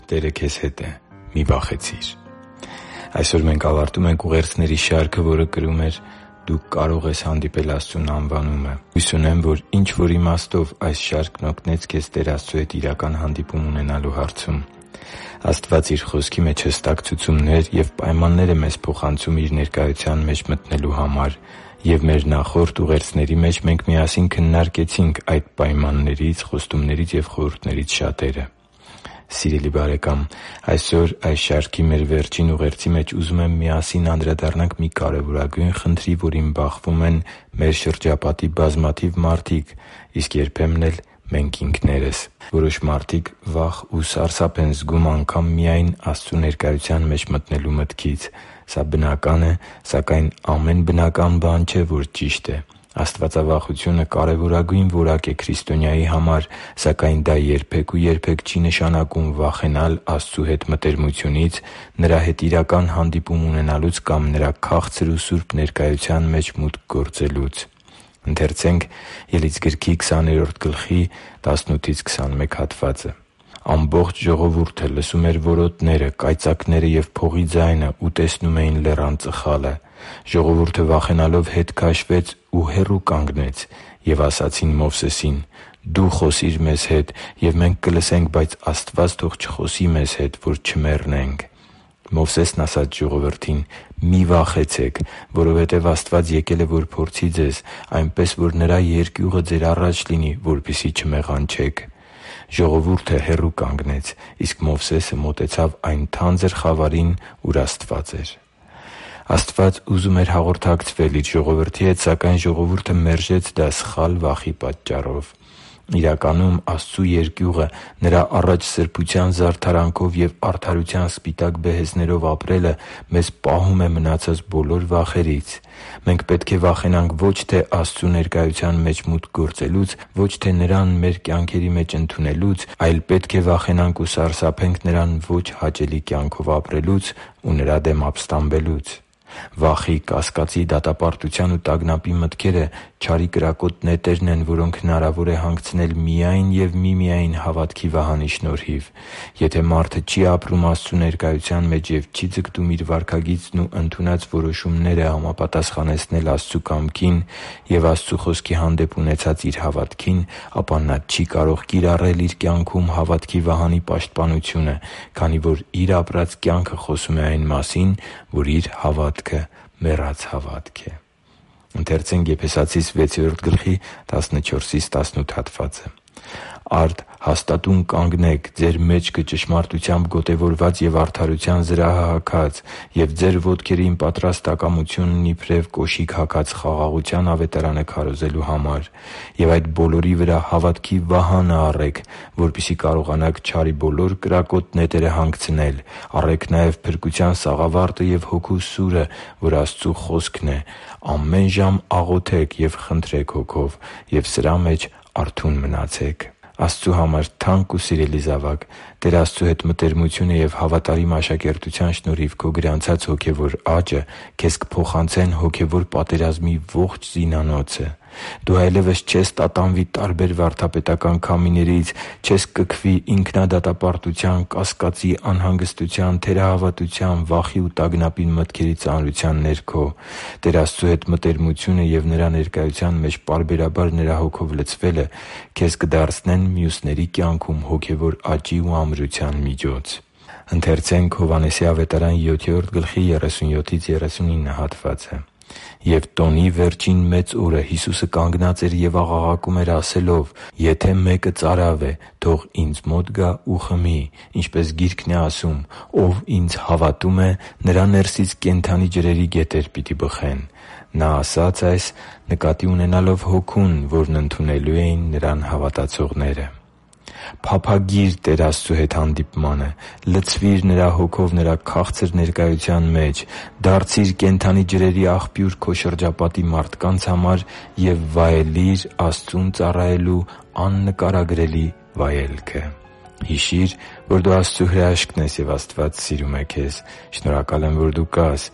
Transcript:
Տերը քեզ հետ է․ մի՛ վախեցիր․․․ Այսօր մենք ավարտում ենք ուղերձների շարքը, որը կրում է «Դու կարո՛ղ ես հանդիպել Աստծուն» անվանումը։ Հույս ունեմ, որ ինչ-որ իմաստով այս շարքն օգնեց քեզ Տեր Աստծու հետ իրական հանդիպում ունենալու հարցում։ Աստված Իր Խոսքի մեջ հստակ ցուցումներ և պայմաններ է մեզ փոխանցում Իր ներկայության մեջ մտնելու համար, և մեր նախորդ ուղերձների մեջ մենք միասին քննարկեցինք այդ պայմաններից, խոստումներից ու խորհուրդներից շատերը։ Սիրելի՛ բարեկամ, այսօր այս շարքի մեր վերջին ուղերձի մեջ ուզում եմ, որ միասին անդրադառնանք մի կարևորագույն խնդրի, որին բախվում են մեր շրջապատի բազմաթիվ մարդիկ, իսկ երբեմն էլ՝ մենք ինքներս։ Որոշ մարդիկ վախ ու սարսափ են զգում անգամ միայն Աստծու ներկայության մեջ մտնելու մտքից։ Սա բնական է, սակայն ամեն բնական բան չէ, որ ճիշտ է։ Աստվածավախությունը կարևոր որակ է քրիստոնյայի համար, սակայն դա երբե՛ք ու երբե՛ք չի նշանակում վախենալ Աստծու հետ մտերմությունից, Նրա հետ իրական հանդիպում ունենալուց կամ Նրա քաղցր ու սուրբ ներկայության մեջ մուտք գործելուց։ «Ամբողջ ժողովուրդը լսում էր որոտները, կայծակները և փողի ձայնը ու տեսնում լեռան ծխալը։ Ժողովուրդը վախենալով ետ քաշվեց ու հեռու կանգնեց։ Եվ ասացին Մովսեսին. «Դո՛ւ խոսիր մեզ հետ, և մենք կլսենք. բայց Աստված թող չխոսի մեզ հետ, որ չմեռնենք»։ Մովսեսն ասաց ժողովրդին. «Մի՛ վախեցեք, որովհետև Աստված եկել է, որ փորձի ձեզ, այնպես որ Նրա երկյուղը ձեր առաջ լինի, որպեսզի չմեղանչեք»։ Ժողովուրդը հեռու կանգնեց, իսկ Մովսեսը մոտեցավ այն թանձր խավարին, ուր Աստված էր» (Ելք 20.18-21): Աստված ուզում էր հաղորդակցվել Իր ժողովրդի հետ, սակայն ժողովուրդը մերժեց դա` սխալ վախի պատճառով։ Իրականում, Աստծու երկյուղը՝ Նրա առաջ սրբության զարդարանքով և արդարության սպիտակ բեհեզներով ապրելը, մեզ պահում է մնացած բոլոր վախերից։ Մենք պետք է վախենանք ո՛չ թե Աստծու ներկայության մեջ մուտք գործելուց, պետք է վախենանք ո՛չ թե Նրան մեր կյանքերի մեջ ընդունելուց, այլ պետք է վախենանք ու սարսափենք Նրան ոչ հաճելի կյանքով ապրելուց ու Նրա դեմ ապստամբելուց։ Վախի, կասկածի, դատապարտության ու տագնապի մտքերը չարի կրակոտ նետերն են, որոնք հնարավոր է հանգցնել միայն և միմիայն հավատքի վահանի շնորհիվ։ Եթե մարդը չի ապրում Աստծու ներկայության մեջ և չի ձգտում իր վարքագիծն ու ընդունած որոշումները համապատասխանեցնել Աստծու կամքին և Աստծու Խոսքի հանդեպ ունեցած իր հավատքին, ապա նա չի կարող կիրառել իր կյանքում հավատքի վահանի պաշտպանությունը, քանի որ իր ապրած կյանքը խոսում է այն մասին, որ իր հավատքը մեռած հավատք է։ «Արդ հաստատո՛ւն կանգնեք՝ ձեր մեջքը ճշմարտությամբ գոտևորած ու արդարության զրահը հագած և ձեր ոտքերին պատրաստակամությունն իբրև կոշիկ հագած՝ խաղաղության Ավետարանը քարոզելու համար։ Եվ այդ բոլորի վրա հավատի վահա՛նն առեք, որպեսզի կարողանաք չարի բոլոր կրակոտ նետերը հանգցնել։ Առե՛ք նաև փրկության սաղավարտը և Հոգու սուրը, որ Աստծու խոսքն է։ Ամեն ժամ աղոթե՛ք և խնդրե՛ք Հոգով. և սրա մեջ արթո՛ւն մնացեք․․․» (Եփեսացիս 6․14-18): Աստծու համար թանկ ու սիրելի՛ զավակ, Տեր Աստծու հետ մտերմությունը և հավատարիմ աշակերտության շնորհիվ քո գրանցած հոգևոր աճը քեզ կփոխանցեն հոգևոր պատերազմի ողջ զինանոցը։ Դու այլևս չես տատանվի տարբեր վարդապետական քամիներից, չես կքվի ինքնադատապարտության, կասկածի, անհանգստության, թերահավատության, վախի ու տագնապի մտքերի ծանրության ներքո։ Տեր Աստծու հետ մտերմությունը և Նրա ներկայության մեջ պարբերաբար Նրա Հոգով լցվելը քեզ կդարձնեն մյուսների կյանքում հոգևոր աճի ու ամրության միջոց։ «Եվ տոնի վերջին մեծ օրը Հիսուսը կանգնած էր և աղաղակում էր՝ ասելով. «Եթե մեկը ծարավ է, թող Ինձ մոտ գա ու խմի։ Ինչպես Գիրքն է ասում. "Ով Ինձ հավատում է, նրա ներսից կենդանի ջրերի գետեր պիտի բխեն"»։ Նա այս ասաց՝ նկատի ունենալով Հոգուն, որն ընդունելու էին Նրան հավատացողները․․․» (Հովհաննես 7․37-39): Փափագի՛ր Տեր Աստծու հետ հանդիպմանը։ Լցվի՛ր Նրա Հոգով Նրա քաղցր ներկայության մեջ։ Դարձի՛ր կենդանի ջրերի աղբյուր քո շրջապատի մարդկանց համար և վայելի՛ր Աստծուն ծառայելու աննկարագրելի վայելքը․․․ Հիշի՛ր, որ դու Աստծո հրաշքն ես, և Աստված սիրում է քեզ։ Շնորհակալ եմ, որ դու կա՛ս։